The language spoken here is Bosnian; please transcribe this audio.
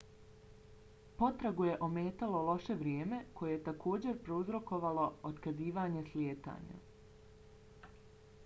potragu je ometalo loše vrijeme koje je takođe prouzrokovalo otkazivanje slijetanja